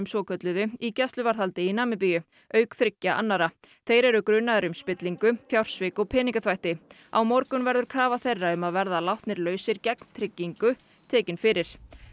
svokölluðu í gæsluvarðhaldi í Namibíu auk þriggja annarra þeir eru grunaðir um spillingu fjársvik og peningaþvætti á morgun verður krafa þeirra um að verða látnir lausir gegn tryggingu tekin fyrir